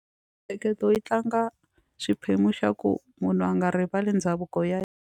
Mintsheketo yi tlanga xiphemu xa ku munhu a nga rivali ndhavuko ya .